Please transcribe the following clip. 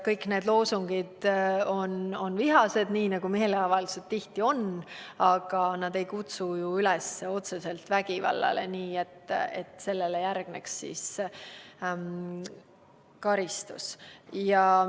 Kõik need loosungid on vihased, nii nagu meeleavaldused tihti on, aga nad ei kutsu otseselt üles vägivallale, nii et sellele järgneks karistus.